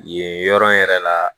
Yen yɔrɔ in yɛrɛ la